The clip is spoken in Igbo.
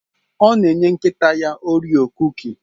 Ọ na enye nkịta ya orio kuki